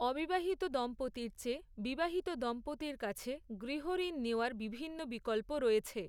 অবিবাহিত দম্পতির চেয়ে, বিবাহিত দম্পতির কাছে গৃহঋণ নেওয়ার বিভিন্ন বিকল্প রয়েছে।